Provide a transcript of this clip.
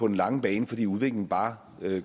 lange bane fordi udviklingen bare